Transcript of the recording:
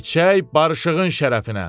İçək barışığın şərəfinə.